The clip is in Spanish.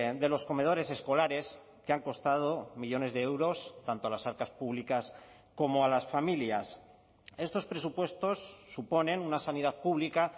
de los comedores escolares que han costado millónes de euros tanto a las arcas públicas como a las familias estos presupuestos suponen una sanidad pública